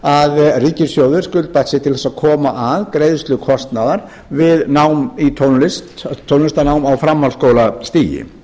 þar sem ríkissjóður skuldbatt sig til að koma að greiðslu kostnaðar við nám í tónlist á framhaldsskólastigi